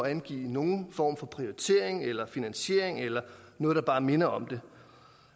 at angive nogen form for prioritering eller finansiering eller noget der bare minder om det